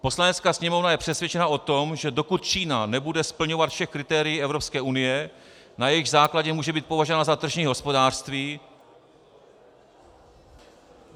Poslanecká sněmovna je přesvědčena o tom, že dokud Čína nebude splňovat všechna kritéria Evropské unie, na jejichž základě může být považována za tržní hospodářství...